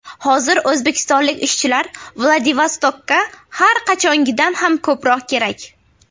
Hozir O‘zbekistonlik ishchilar Vladivostokka har qachongidan ham ko‘proq kerak.